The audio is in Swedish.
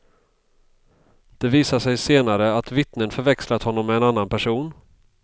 Det visar sig senare att vittnen förväxlat honom med en annan person.